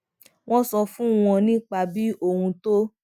mo sọ fún wọn nípa bí ohùn tó